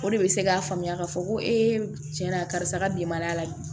O de bɛ se k'a faamuya k'a fɔ ko cɛn na karisa ka bilenman la bi